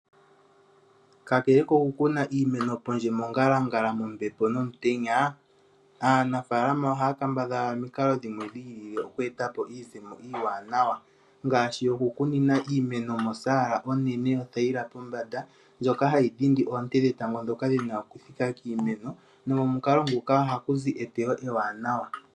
Kakele ko ku kuna iimeno pondje, mongalangala mombepo, nomutenya, aanafaalama oha ya kambadhala omikalo dhimwe dhi ilile oku eta po iizemo iiwanawa, ngaashi oku kunina iimeno mosaala onene yo thayila pombanda ndjoka ha yi dhindi oonte dhetango, dhoka dhi na oku thika kiimeno, nomomukalo nguka oha ku zi eteyo ewanawa.